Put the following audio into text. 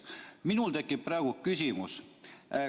Minul tekib praegu küsimus.